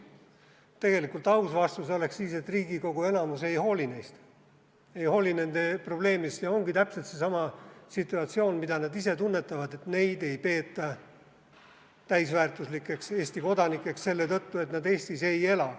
Tegelikult aus vastus oleks siis, et Riigikogu enamus ei hooli neist, ei hooli nende probleemist ja ongi täpselt seesama situatsioon, mida nad ise tunnetavad, et neid ei peeta täisväärtuslikeks Eesti kodanikeks selle tõttu, et nad Eestis ei ela.